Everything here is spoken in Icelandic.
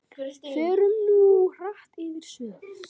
Förum nú hratt yfir sögu.